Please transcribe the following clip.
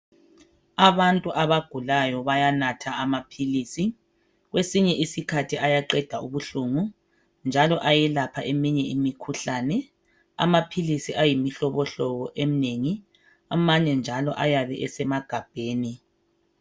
Abantu abagulayo bayanatha amaphilisi kwesinye isikhathi ayaqeda ubuhlungu njalo ayelapha eminye imikhuhlane. Amaphilisi ayimihlobohlobo eminengi amanye njalo ayabe esemagabheni.